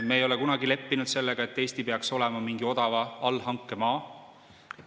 Me ei ole kunagi leppinud sellega, et Eesti peaks olema mingi odava allhanke maa.